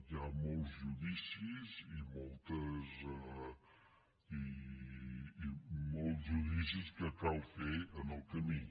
hi ha molts ju·dicis i molts judicis que cal fer en el camí